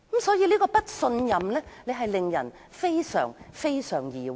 所以，這份不信任令人非常疑惑。